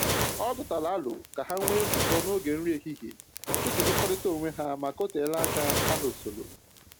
Ọ tụtara aro ka ha nwee nzukọ n'oge nri ehihie iji hụkọrịta onwe ha maka o telaa aka ha hụsọrọ